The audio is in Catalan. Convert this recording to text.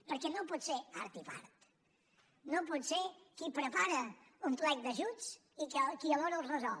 perquè no pot ser art i part no pot ser qui prepara un plec d’ajuts i qui alhora els resol